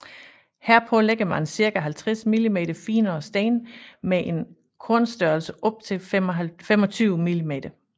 Herpå lægger man ca 50 mm finere sten med en kornstørrelse op til 25 mm